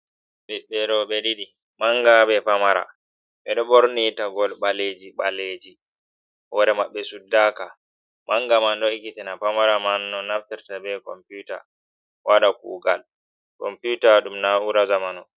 Ɓiɓɓe roɓe ɗiɗi, manga ɓe pamara. Ɓe ɗo ɓorni taggol ɓaleji ɓaleji. Hore maɓɓe suɗɗaka. Manga man ɗo ikkitina pamara man no naftarta ɓe komputa, waɗa kugal. Komputa ɗum naura zamanu.